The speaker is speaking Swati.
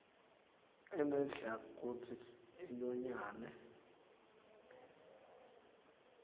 inedlac kutsi inyonyane